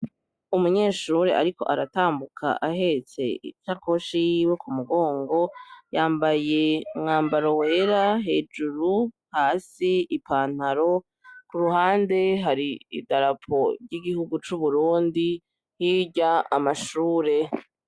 Umunyeshure ariko aratambuka ahetse isakoshi yiwe kumumugongo yambaye umwambaro wera hejuru hasi ipantaro. Kuruhande Har'idarapo ry'Igihugu c'Uburundi; hirya amashure.